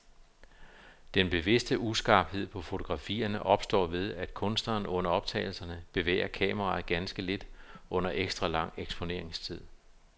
Den bevidste uskarphed på fotografierne opstår ved, at kunstneren under optagelserne bevæger kameraet ganske lidt under ekstra lang eksponeringstid.